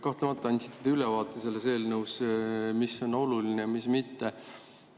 Kahtlemata, te andsite ülevaate sellest eelnõust, mis on oluline ja mis mitte.